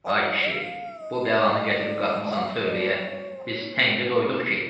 Ay kişi, bu bəlanı gətirib qatmısan tövləyə, biz təngə doyduq ki?